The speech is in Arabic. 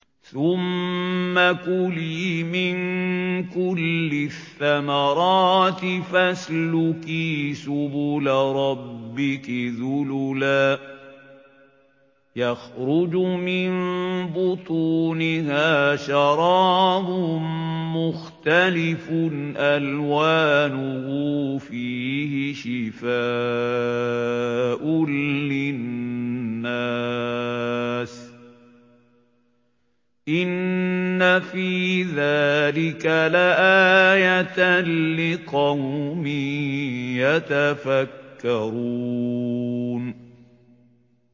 ثُمَّ كُلِي مِن كُلِّ الثَّمَرَاتِ فَاسْلُكِي سُبُلَ رَبِّكِ ذُلُلًا ۚ يَخْرُجُ مِن بُطُونِهَا شَرَابٌ مُّخْتَلِفٌ أَلْوَانُهُ فِيهِ شِفَاءٌ لِّلنَّاسِ ۗ إِنَّ فِي ذَٰلِكَ لَآيَةً لِّقَوْمٍ يَتَفَكَّرُونَ